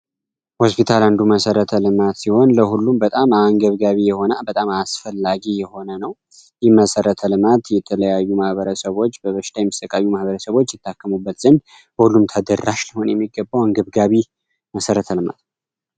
ሆስፒታል ከንዱ መሰረተ ልማት ሲሆን ለሁሉም በጣም የሆነ በጣም አያስፈላጊ የሆነ ነው ይመሠረተ ልማት የተለያዩ ማህበረሰቦች ማህበረሰቦችበት መሰረተ ልማት